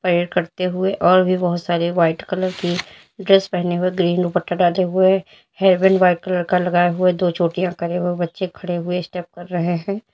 करते हुए और भी बहोत सारे व्हाइट कलर की ड्रेस पहने हुए ग्रीन दुपट्टा डाले हुए हेयरबैंड व्हाइट कलर का लगाए हुए दो चोटियां करे हुए बच्चे खड़े हुए स्टेप कर रहे हैं।